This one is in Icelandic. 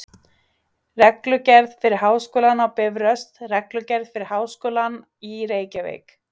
Reglugerð fyrir Háskólann á Bifröst Reglugerð fyrir Háskólann í Reykjavík.